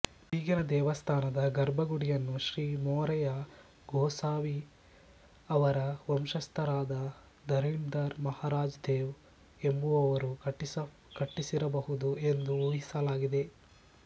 ಈಗಿನ ದೇವಸ್ಥಾನದ ಗರ್ಭಗುಡಿಯನ್ನು ಶ್ರೀ ಮೊರೆಯ ಗೋಸಾವಿ ಅವರ ವಂಶಸ್ಥರಾದ ಧರಣೀಧರ್ ಮಹಾರಾಜ್ ದೇವ್ ಎಂಬುವರು ಕಟ್ಟಿಸಿರಬಹುದು ಎಂದು ಊಹಿಸಲಾಗಿದೆ